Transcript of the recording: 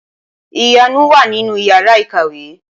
Ìyanu wà ní Ìyàrá-ìkàwé.